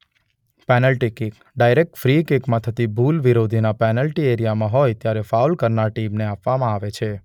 Penalty kick: direct free કિકમાં થતી ભુલ વિરોધીના પેનલ્ટી એરિયામાં હોય ત્યારે ફાઉલ કરનાર ટીમને આપવનામાં આવે છે.